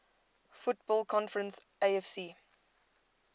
football conference afc